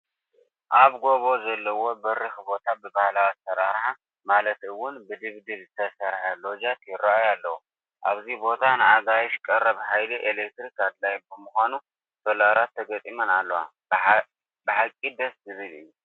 ኣብ ጐቦ ዘለዎ በሪኽ ቦታ ብባህላዊ ኣሰራርሓ ማለት እውን ብድብድብ ዝተሰርሑ ሎጃት ይርአዩ ኣለዉ፡፡ ኣብዚ ቦታ ንኣጋይሽ ቀረብ ሓይሊ ኤሌክትሪክ ኣድላዪ ብምዃኑ ሶላራት ተገጢመን ኣለዋ፡፡ ብሓቂ ደስ ዝብል እዩ፡፡